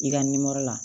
I ka nimɔro la